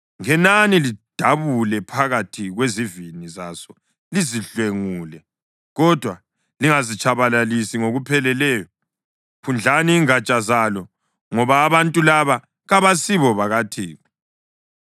Ngenani lidabule phakathi kwezivini zaso lizidlwengule, kodwa lingazitshabalalisi ngokupheleleyo. Phundlani ingatsha zalo, ngoba abantu laba kabasibo bakaThixo.